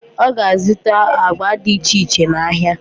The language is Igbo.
Ọ ga-azụta agba dị iche iche n'ahịa.